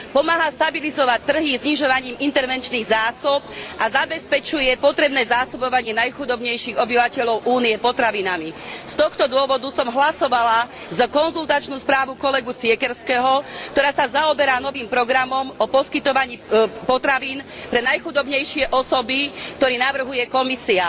Pomáha stabilizovať trhy znižovaním intervenčných zásob a zabezpečuje potrebné zásobovanie najchudobnejších obyvateľov Únie potravinami. Z tohto dôvodu som hlasovala za konzultačnú správu kolegu Siekierského, ktorá sa zaoberá novým programom poskytovania potravín pre najchudobnejšie osoby, ktorý navrhuje Komisia.